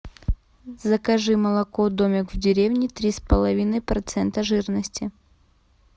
закажи молоко домик в деревне три с половиной процента жирности